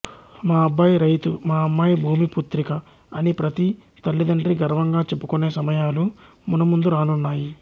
మా అబ్బాయి రైతు మా అమ్మాయి భూమి పుత్రిక అని ప్రతి తల్లితండ్రీ గర్వంగా చెప్పుకొనే సమయాలు మునుముందు రానున్నాయి